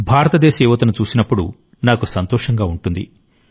భారతదేశ యువతను చూసినప్పుడు నాకు సంతోషంగా ఉంటుంది